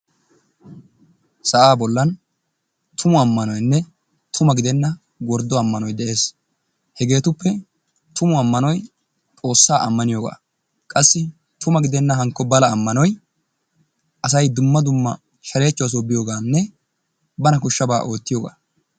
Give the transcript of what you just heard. Sa'aa bollan tumu ammanoyinne tuma gidenna worddo ammanoy de'es. Hegeetuppe tumu ammanoy xoossaa ammaniyogaa qassi tuma gidenna hankko bala ammanoy asay dumma dumma shareechchuwasoo biyoogaanne bana koshshabaa ootyiyogaa.